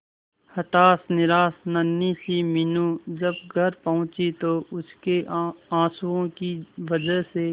हताश निराश नन्ही सी मीनू जब घर पहुंची तो उसके आंसुओं की वजह से